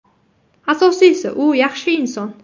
Asosiysi, u yaxshi inson.